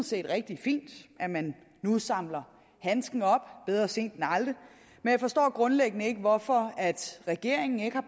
set rigtig fint at man nu samler handsken op bedre sent end aldrig men jeg forstår grundlæggende ikke hvorfor regeringen ikke har